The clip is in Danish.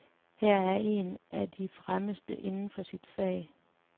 Han er en af de fremmeste inden for sit fag.